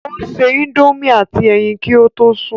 Ó se indomie àti ẹyin kí ó tó sùn